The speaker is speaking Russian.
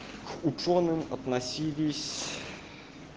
учёным относились